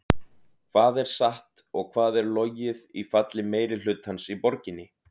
Hvað er satt og hvað er logið í falli meirihlutans í borginni?